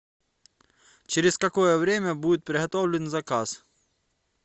через какое время будет приготовлен заказ